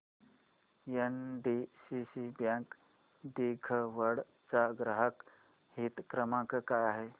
NDCC bank दिघवड चा ग्राहक हित क्रमांक काय आहे